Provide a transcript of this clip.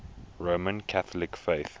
roman catholic faith